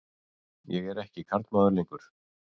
Ég er ekki karlmaður lengur.